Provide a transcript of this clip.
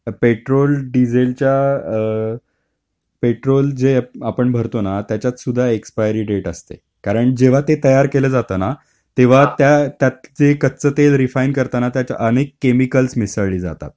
Petrol डिझेलच्या, petrol जे आपण भरतो ना त्याच्यात सुद्धा एक्सपायरी डेट असते कारण जेव्हा ते तयार केलं जातं ना तेव्हा त्यात जे कच्च तेल रिफाइंड करताना आणि अनेक केमिकल मिसळले जातात.